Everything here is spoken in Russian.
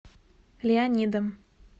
леонидом